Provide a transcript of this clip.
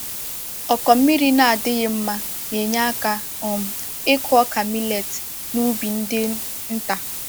Ọkụ mmiri na-adịghị mma na-enye aka um ịkụ ọka millet n’ubi ndị nta.